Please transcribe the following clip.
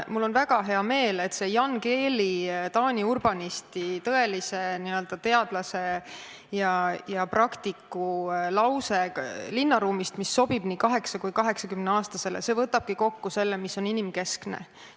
Mul on väga hea meel, et see Jan Gehli, Taani urbanisti, tõelise teadlase ja praktiku lause linnaruumi kohta, mis sobib nii 8- kui ka 80-aastasele, võtabki kokku selle, mis on inimkeskne.